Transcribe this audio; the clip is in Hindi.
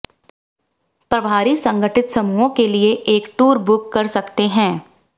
प्रभारी संगठित समूहों के लिए एक टूर बुक कर सकते हैं